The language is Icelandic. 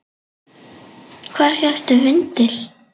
Hvar fékkstu vindil?